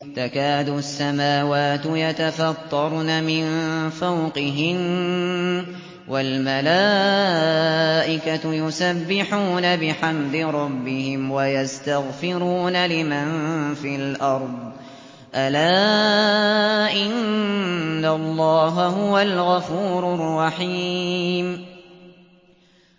تَكَادُ السَّمَاوَاتُ يَتَفَطَّرْنَ مِن فَوْقِهِنَّ ۚ وَالْمَلَائِكَةُ يُسَبِّحُونَ بِحَمْدِ رَبِّهِمْ وَيَسْتَغْفِرُونَ لِمَن فِي الْأَرْضِ ۗ أَلَا إِنَّ اللَّهَ هُوَ الْغَفُورُ الرَّحِيمُ